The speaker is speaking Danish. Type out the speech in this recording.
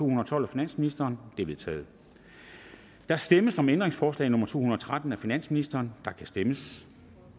og tolv af finansministeren de er vedtaget der stemmes om ændringsforslag nummer to hundrede og tretten af finansministeren og der kan stemmes